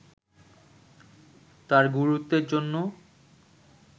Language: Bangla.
তার গুরুত্বের জন্য